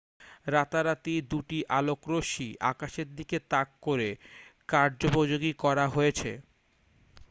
রাতারাতি দুটি আলোকরশ্মি আকাশের দিকে তাক করে কার্যপযোগী করা হয়েছে